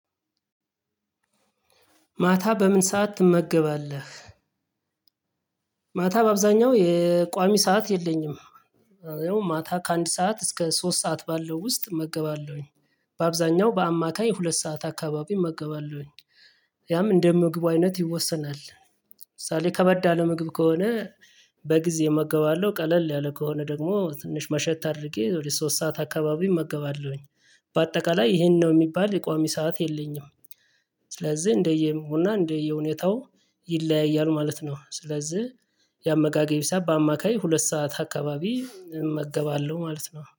ማታ በምን ሰዓት ትመገባለህ? ማታ በአብዛኛው የቋሚ ሰዓት የለኝም። ያው ማታ ከአንድ ሰዓት እስከ ሶስት ሰዓት ባለው ውስጥ እመገባለሁኝ። በአብዛኛው በአማካይ ሁለት ሰዓት አካባቢ እገባለሁኝ። ያም እንደ ምግቡ አይነት ይወሰናል። ለምሳሌ ከበድ ያለ ምግብ ከሆነ። በጊዜ እመገባለሁ ቀለል ያለ ከሆነ ደግሞ ትንሽ መሸት አድርጌ ወደ ሶስት ሰዓት አካባቢ እመገባለሁኝ። በአጠቃላይ ይሄን ነው የሚባል የቋሚ ሰዓት የለኝም። ስለዚህ እንደየ ምግቡ እና እንደየ ሁኔታው ይለያያሉ ማለት ነው። ስለዚህ የአመጋገቤ ሰዓት በአማካይ ሁለት ሰዓት አካባቢ እመገባለሁ ማለት ነው